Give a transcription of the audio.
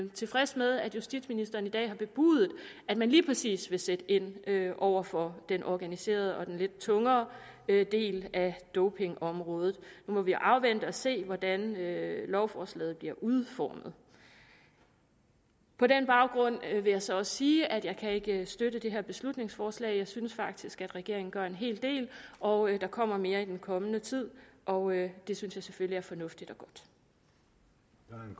tilfreds med at justitsministeren i dag har bebudet at man lige præcis vil sætte ind over for den organiserede og lidt tungere del af dopingområdet nu må vi afvente og se hvordan lovforslaget bliver udformet på den baggrund vil jeg så også sige at jeg ikke kan støtte det her beslutningsforslag jeg synes faktisk at regeringen gør en hel del og der kommer mere i den kommende tid og det synes jeg selvfølgelig er fornuftigt